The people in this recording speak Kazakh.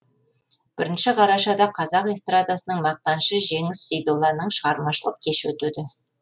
бірінші қарашада қазақ эстрадасының мақтанышы жеңіс сейдолланың шығармашылық кеші өтеді